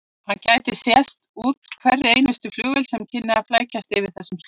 Hann gæti sést úr hverri einustu flugvél sem kynni að flækjast yfir þessar slóðir.